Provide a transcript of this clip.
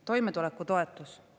Toimetuleku toetus.